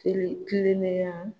Seli kilennenya